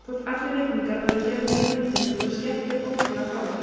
Þótt allir reikningar væru gerðir í höndum voru skekkjur ótrúlega fáar.